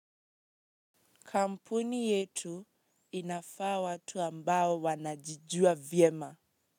Kampuni yetu inafaa watu ambao wanajijua vyema.